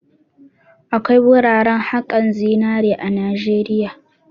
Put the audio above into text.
Akwai wuraran haƙan zinari a Najeriya.